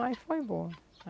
Mas foi boa.